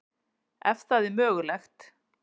Ef það er mögulegt.